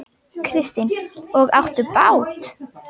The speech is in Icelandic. Kristín: Og áttu bát?